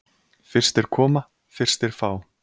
Fyrstir koma, fyrstir fá.